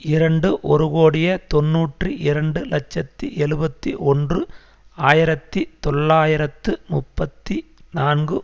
இரண்டு ஒரு கோடியே தொன்னூற்றி இரண்டு இலட்சத்தி எழுபத்தி ஒன்று ஆயிரத்தி தொள்ளாயிரத்து முப்பத்தி நான்கு